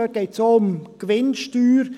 Dabei geht es auch um die Gewinnsteuer.